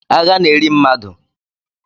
Agha na-eri mmadụ